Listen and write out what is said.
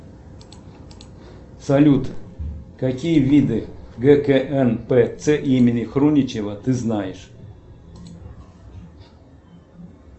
салют какие виды гкнпц имени хруничева ты знаешь